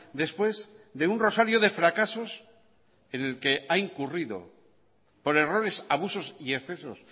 después de un rosario de fracasos en el que ha incurrido por errores abusos y excesos